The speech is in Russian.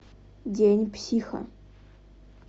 день психа